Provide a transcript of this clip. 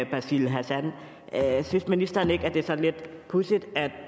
basil hassan synes ministeren ikke at det er sådan lidt pudsigt at